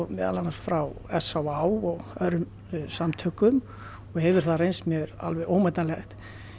meðal annars frá s á á og öðrum samtökum og hefur það reynst mér alveg ómetanlegt